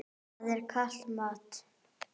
Það er kalt mat.